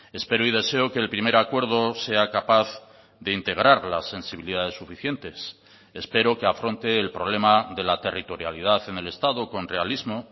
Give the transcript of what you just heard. espero y deseo que el primer acuerdo sea capaz de integrar las sensibilidades suficientes espero que afronte el problema de la territorialidad en el estado con realismo